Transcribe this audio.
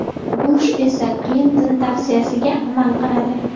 Bush esa Klinton tavsiyasiga amal qiladi.